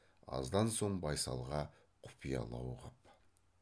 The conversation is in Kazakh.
аздан соң байсалға құпиялау қып